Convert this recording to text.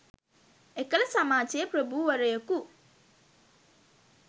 එකල සමාජයේ ප්‍රභූවරයෙකු